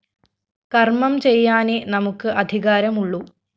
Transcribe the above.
കര്‍മം ചെയ്യാനേ നമുക്ക് അധികാരമുള്ളു